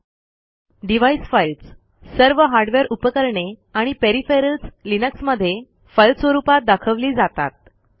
३डिव्हाइस files सर्व hardware उपकरणे आणि पेरिफेरल्स लिनक्समधे फाईल स्वरूपात दाखवली जातात